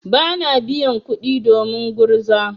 Bana biyan kuɗi domin gurza.